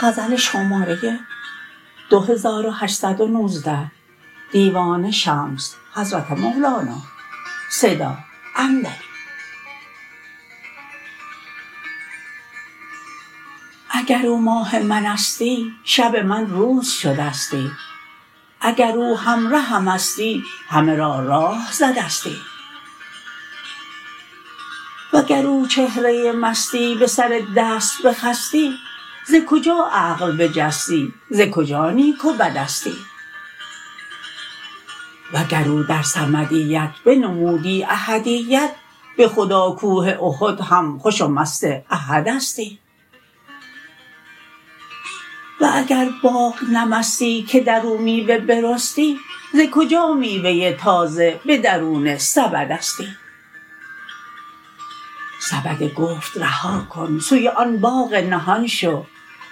اگر او ماه منستی شب من روز شدستی اگر او همرهمستی همه را راه زدستی وگر او چهره مستی به سر دست بخستی ز کجا عقل بجستی ز کجا نیک و بدستی وگر او در صمدیت بنمودی احدیت به خدا کوه احد هم خوش و مست احدستی و اگر باغ نه مستی که در او میوه برستی ز کجا میوه تازه به درون سبدستی سبد گفت رها کن سوی آن باغ نهان شو